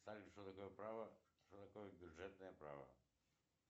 салют что такое право что такое бюджетное право